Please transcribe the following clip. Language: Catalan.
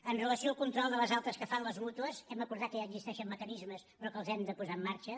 amb relació al control de les altes que fan les mútues hem acordat que ja existeixen mecanismes però que els hem de posar en marxa